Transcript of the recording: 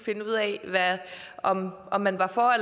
finde ud af om om man var for